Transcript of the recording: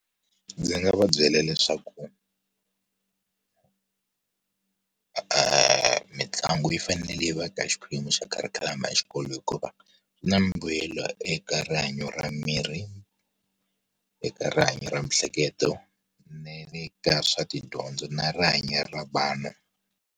Ndzi nga va byela leswaku mitlangu yi fanele va ka xiphemu xa kharikhulamu ya xikolo hikuva, na mbuyelo eka rihanyo ra mirhi, eka rihanyo ra miehleketo, na le ka swa tidyondzo na rihanyo ra vana.